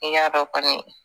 N y'a dɔn kɔni